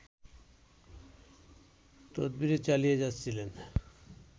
তদবির চালিয়ে যাচ্ছিলেন